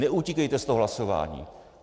Neutíkejte z toho hlasování.